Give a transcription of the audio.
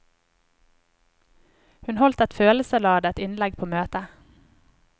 Hun holdt et følelsesladet innlegg på møtet.